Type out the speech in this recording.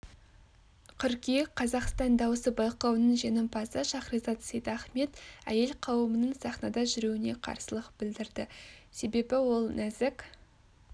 қыркүйек қазақстан дауысы байқауының жеңімпазы шахризат сейдахмет әйел қауымының сахнада жүруіне қарсылық білдірді себебі ол нәзік